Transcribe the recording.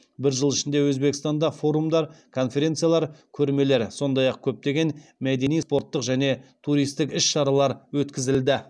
бір жыл ішінде өзбекстанда форумдар конференциялар көрмелер сондай ақ көптеген мәдени спорттық және туристік іс шаралар өткізілді